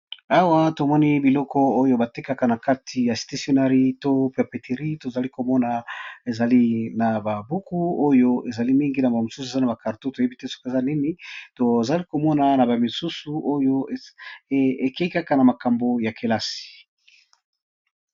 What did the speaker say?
Awa tomoni biloko oyo batekaka na kati ya stationari to pepetirie tozali komona ezali na babuku oyo ezali mingi na bamisusu eza na bakarto toyebi te soka eza nini tozali komona na bamisusu oyo ekeikaka na makambo ya kelasi.